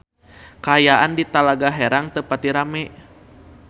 Kaayaan di Talaga Herang teu pati rame